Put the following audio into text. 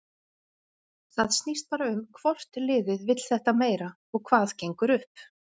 Það snýst bara um hvort liðið vill þetta meira og hvað gengur upp.